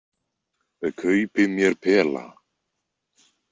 Kaupi mér pela.